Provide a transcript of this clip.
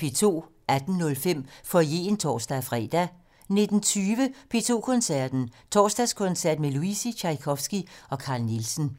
18:05: Foyeren (tor-fre) 19:20: P2 Koncerten - Torsdagskoncert med Luisi, Tjajkovskij og Carl Nielsen